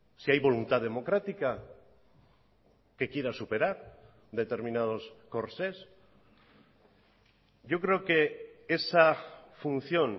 si hay voluntad democrática que quiera superar determinados corsés yo creo que esa función